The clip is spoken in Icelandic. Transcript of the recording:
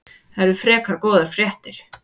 Það eru frekar góðar fréttir.